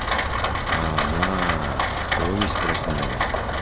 угуу совесть проснулась